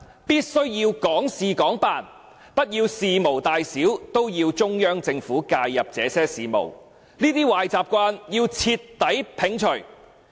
必須要港事港辦，不要事無大小都要中央政府介入這些事務，這些壞習慣要徹底摒除。